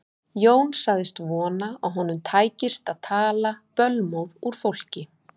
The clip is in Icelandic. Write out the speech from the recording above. Jón sagðist vona að honum tækist að tala bölmóð úr fólki.